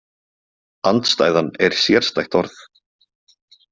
Andstæðan er sérstætt orð.